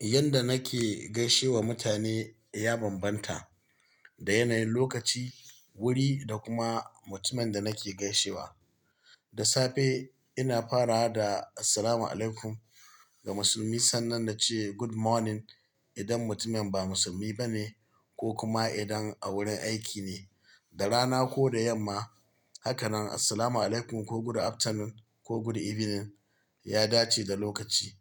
Yadda nake gaishewa mutane, ya bambanta da yanayin lokaci, wuri da kuma mutumin da nake gaishewa. Da safe ina fara da "Assalamu alaikum" ga musulmi sannan na ce "Good morning" idan mutumin ba musulmi bane ko kuma idan a wurin aiki ne. Da rana ko da yamma, haka nan "Assalamu alaikum" ko "Good afternoon" ko "Good evening" ya dace da lokaci.